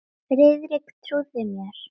Friðrik trúði mér.